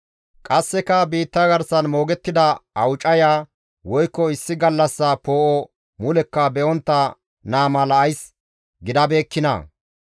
Qasseka ays biitta garsan moogettida awucaya, woykko issi gallassa poo7o mulekka be7ontta naa mala ays gidabeekkinaa?